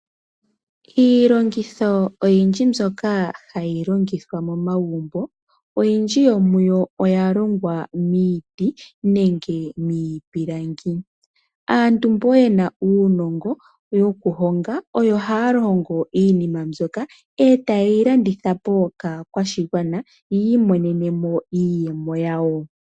Iilongitho oyindji mbyoka hayi longithwa momagumbo oya longwa miiti nenge miipilangi. Aantu mbo yena uunongo woko honga oyo haahongo iihongomwa ndjoka etayeyi landitha po kaantu yo ta yiimonenemo iiyemo.